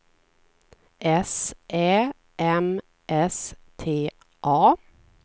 S Ä M S T A